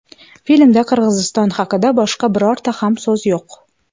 Filmda Qirg‘iziston haqida boshqa birorta ham so‘z yo‘q.